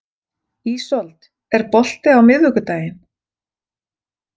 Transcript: Ísold, er bolti á miðvikudaginn?